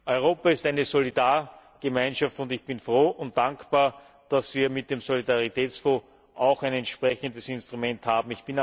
Europa ist eine Solidargemeinschaft, und ich bin froh und dankbar, dass wir mit dem Solidaritätsfonds auch ein entsprechendes Instrument haben.